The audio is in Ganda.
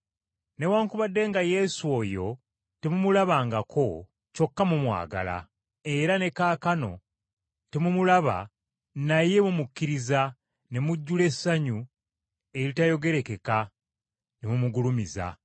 Newaakubadde nga Yesu oyo temumulabangako, kyokka mumwagala, era ne kaakano temumulaba naye mumukkiriza ne mujjula essanyu eritayogerekeka ne mumugulumiza,